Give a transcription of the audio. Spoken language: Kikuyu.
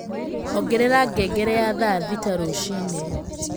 ongerera ngngere ya thaa thita rũciini